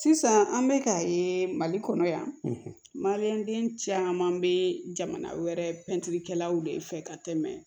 Sisan an bɛ k'a ye mali kɔnɔ yan maliyɛn caman bɛ jamana wɛrɛ pɛntiri kɛlaw de fɛ ka tɛmɛ